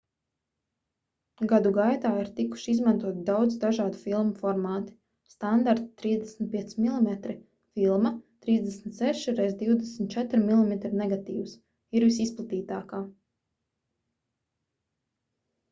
gadu gaitā ir tikuši izmantoti daudz dažādu filmu formāti. standarta 35 mm filma 36 x 24 mm negatīvs ir visizplatītākā